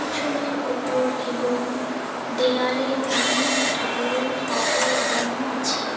আসনের ওপর এবং দেয়ালে অনেক ঠাকুরের ফটো লাগানো আছে।